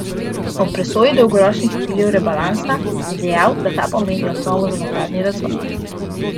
Ob presoji dolgoročnih ciljev rebalansa je dejal, da ta pomeni osnovo za nadaljnji razvoj.